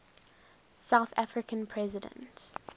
south african president